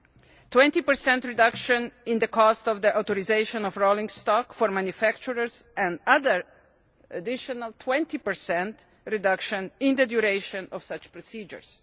a 20 reduction in the cost of the authorisation of rolling stock for manufacturers, and another, additional, 20 reduction in the duration of such procedures.